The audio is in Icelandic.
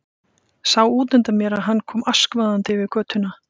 Sá útundan mér að hann kom askvaðandi yfir götuna.